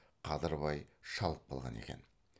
қадырбай шалып қалған екен